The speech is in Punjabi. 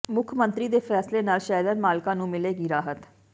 ਮੁੱਖ ਮੰਤਰੀ ਦੇ ਫ਼ੈਸਲੇ ਨਾਲ ਸ਼ੈਲਰ ਮਾਲਕਾਂ ਨੂੰ ਮਿਲੇਗੀ ਰਾਹਤ